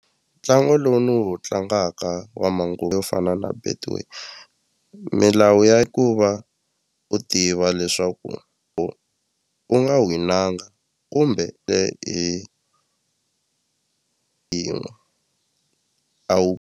Ntlangu lowu ni wu tlangaka wa yo fana na betway milawu ya ku va u tiva leswaku u nga winanga kumbe hi yin'we a .